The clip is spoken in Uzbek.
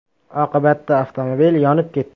Oqibatda avtomobil yonib ketdi .